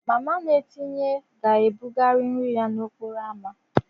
Mama na-etinye ga-ebugari nri ya n'okporo ámá.